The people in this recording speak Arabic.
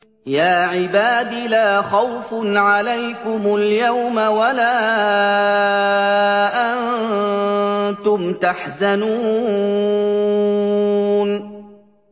يَا عِبَادِ لَا خَوْفٌ عَلَيْكُمُ الْيَوْمَ وَلَا أَنتُمْ تَحْزَنُونَ